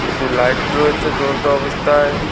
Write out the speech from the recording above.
কিছু লাইট রয়েছে জ্বলন্ত অবস্থায়।